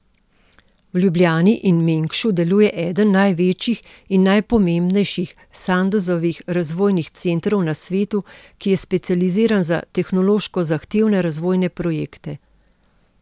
V Ljubljani in Mengšu deluje eden največjih in najpomembnejših Sandozovih razvojnih centrov na svetu, ki je specializiran za tehnološko zahtevne razvojne projekte.